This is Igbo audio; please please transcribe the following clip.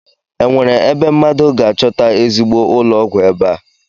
Enwere ebe mmadụ ga-achọta ezigbo ụlọọgwụ ebe a?